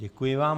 Děkuji vám.